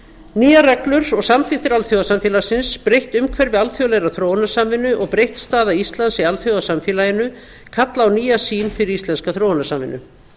nýjar reglur og samþykktir alþjóðasamfélagsins breytt umhverfi alþjóðlegrar þróunarsamvinnu og breytt staða íslands í alþjóðasamfélaginu kalla á nýja sýn fyrir íslenska þróunarsamvinnu